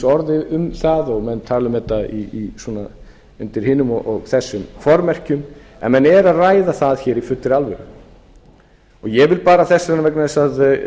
orð um það og menn tala um þetta undir hinum og þessum formerkjum en menn eru að ræða það hér í fullri alvöru ég vil bara þess vegna vegna þess að